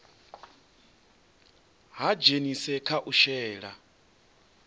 ha dzhenisa kha u shela